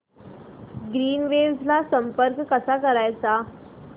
Greenwaves ला संपर्क कसा करायचा